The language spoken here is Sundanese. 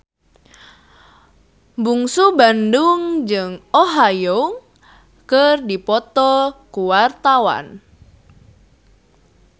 Bungsu Bandung jeung Oh Ha Young keur dipoto ku wartawan